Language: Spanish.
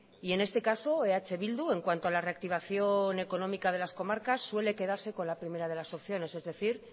y en este caso eh bildu en cuanto a la reactivación económica de las comarcas suele quedarse con la primera de las opciones es decir